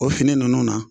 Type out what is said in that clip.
O fini ninnu na